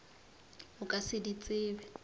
o ka se di tsebe